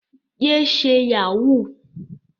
Yé ṣe Yahoo!